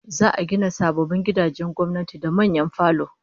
Za'a gina sababbin gidajen gwamnati da manyan falo